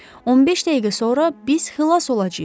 15 dəqiqə sonra biz xilas olacağıq.